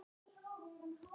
Eða taka í.